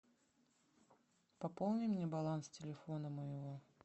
пополни мне баланс телефона моего